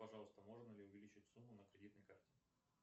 пожалуйста можно ли увеличить сумму на кредитной карте